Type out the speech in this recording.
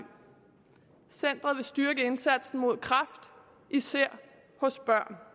centeret vil styrke indsatsen mod kræft især hos børn